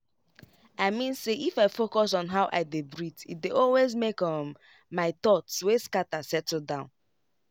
i mean say if i focus on how i dey breathee dey always make um my thoughts wey scatter settle down.